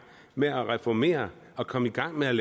med at reformere og komme i gang med at